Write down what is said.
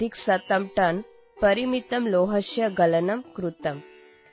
134 ton ಪರಿಮಿತಸ್ಯ ಲೋಹಸ್ಯ ಗಲನಂ ಕೃತಮ್